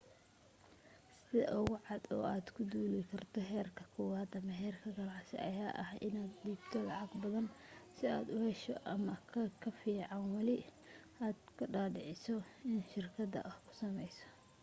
sida ugu cad oo aad ku duuli karto heerka kowad ama heerka ganacsi ayaa ah in aad dhiibto lacag badan sii aad u hesho ama kafiican wali aad ka dhaadhiciso in shirkadaada kuu sameyso